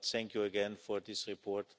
Thank you again for this report.